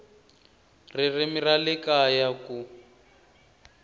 ririmi ra le kaya ku